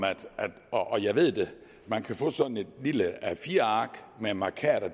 og jeg ved det at man kan få sådan et lille a4 ark med mærkater